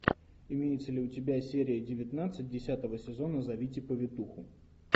имеется ли у тебя серия девятнадцать десятого сезона зовите повитуху